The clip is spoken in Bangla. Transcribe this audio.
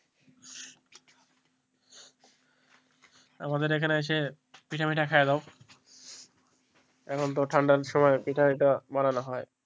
আমাদের এখানে এসে পিঠা মিঠা খাইয়া যাও এখন তো ঠান্ডা সময় পিঠা মিঠা বানানো হয়,